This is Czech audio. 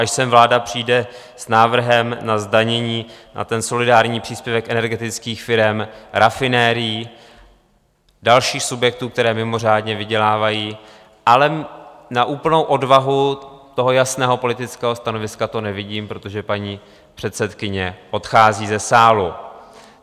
Až sem vláda přijde s návrhem na zdanění, na ten solidární příspěvek energetických firem, rafinerií, dalších subjektů, které mimořádně vydělávají - ale na úplnou odvahu toho jasného politického stanoviska to nevidím, protože paní předsedkyně odchází ze sálu.